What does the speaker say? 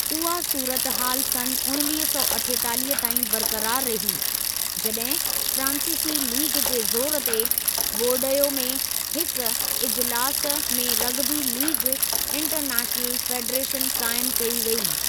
उहा सूरतहाल सन् उणिवीह सौ अठेतालीह ताईं बरक़रार रही, जॾहिं फ़्रांसीसी लीग जे ज़ोरु ते, बोरडयो में हिकु इजलास में रग़बी लीग इंटरनैशनल फ़ेडरेशन क़ाइमु कई वेई।